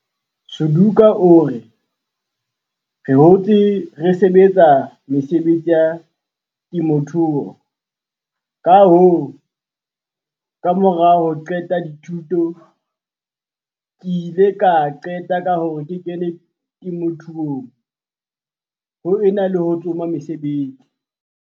Suduka o re, "Re hotse re sebetsa mesebetsi ya temothuo, kahoo, kamora ho qeta dithuto ke ile ka qeta ka hore ke kene temothuong ho e na le ho tsoma mosebetsi."